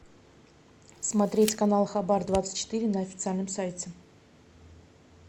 смотреть канал хабар двадцать четыре на официальном сайте